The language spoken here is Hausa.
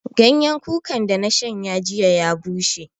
Ganyan kuka da na shanya jiya ya bushe